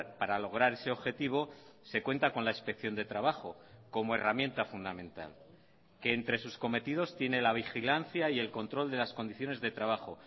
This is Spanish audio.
para lograr ese objetivo se cuenta con la inspección de trabajo como herramienta fundamental que entre sus cometidos tiene la vigilancia y el control de las condiciones de trabajo